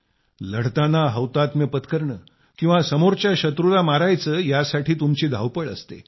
लढताना हौतात्म्य पत्करणं किंवा समोरच्या शत्रूला मारायचं यासाठी तुमची धावपळ असते